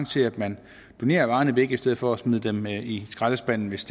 til at man donerer varerne væk i stedet for at smide dem i i skraldespanden hvis